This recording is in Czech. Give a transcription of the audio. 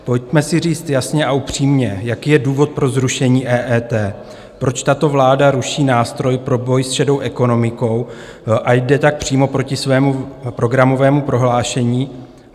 Pojďme si říct jasně a upřímně, jaký je důvod pro zrušení EET, proč tato vláda ruší nástroj pro boj s šedou ekonomikou a jde tak přímo proti svému programovému prohlášení.